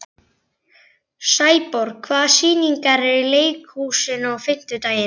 Sæborg, hvaða sýningar eru í leikhúsinu á fimmtudaginn?